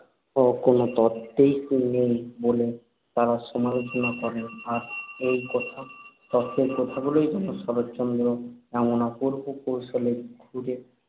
ও কোন তত্ত্ব তো নেই বলে তাঁরা সমালোচনা করেন। আর সেই তত্ত্বের কথাগুলোই যখন শরৎচন্দ্র এমন অপূর্ব কৌশলে ঘরে